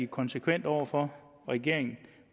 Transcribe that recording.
konsekvent over for regeringen